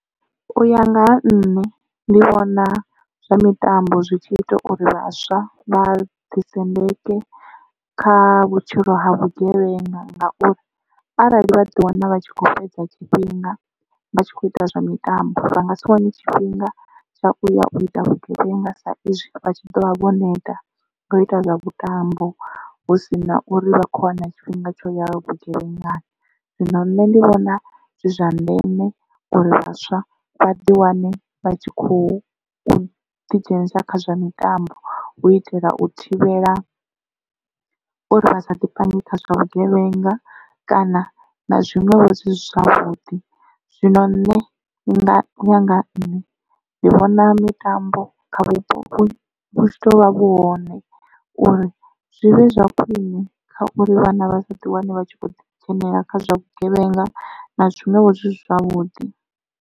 U ya nga ha nṋe ndi vhona zwa mitambo zwi tshi ita uri vhaswa vha ḓi sendeke kha vhutshilo ha vhugevhenga ngauri arali vha ḓi wana vha tshi kho fhedza tshifhinga vha tshi kho ita zwa mitambo vha nga si wane tshifhinga tsha u ya u ita vhugevhenga sa izwi vha tshi ḓovha vho neta ngo ita zwa vhutambo hu sina uri vha khou wana tshifhinga tsho ya vhugevhengani. Zwino nṋe ndi vhona zwi zwa ndeme uri vhaswa vha ḓi wane vha tshi khou ḓi dzhenisa kha zwa mitambo hu u itela u thivhela uri vhasa ḓi pange kha zwa vhugevhenga kana na zwiṅwevho zwisi zwavhuḓi. Zwino nṋe u ya nga ha nṋe ndi vhona mitambo kha vhupo vhu tshi ḓo vha vhu hone uri zwi vhe zwa khwiṋe kha uri vhana vha sa ḓi wane vha tshi khou dzhenelela kha zwa vhugevhenga na zwiṅwevho zwi si zwavhuḓi.